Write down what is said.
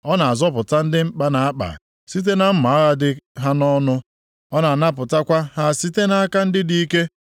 Ọ na-azọpụta ndị mkpa na-akpa, site na mma agha dị ha nʼọnụ, ọ na-anapụtakwa ha site nʼaka ndị dị ike.